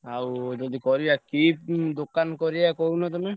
ଆଉ ଯଦି କରିବା କି ଦୋକାନ କରିବା କହୁନ ତମେ?